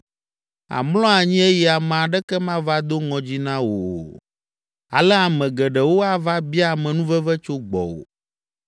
Àmlɔ anyi eye ame aɖeke mava do ŋɔdzi na wò o; ale ame geɖewo ava bia amenuveve tso gbɔwò.